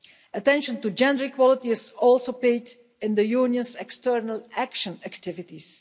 Attention to gender equality is also paid in the Union's external action activities.